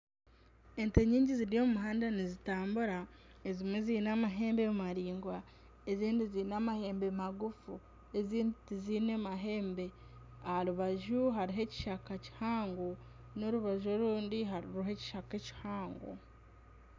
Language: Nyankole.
Ente nyingi ziri omu muhanda nizitambura. Ezimwe ziine amahembe maringwa ezindi ziine amahembe magufu ezindi tiziine mahembe. Aharubaju hariho ekishaka kihango n'orubaju orundi hariho ekishaka ekihango.